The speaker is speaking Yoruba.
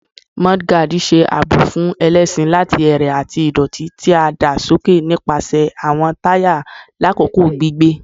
Mudguards ṣe aabo fun ẹlẹṣin lati ẹrẹ ati idoti ti a da soke nipasẹ awọn taya lakoko gbigbe